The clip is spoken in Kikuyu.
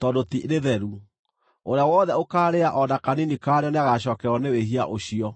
tondũ ti rĩtheru; ũrĩa wothe ũkaarĩa o na kanini karĩo nĩagacookererwo nĩ wĩhia ũcio.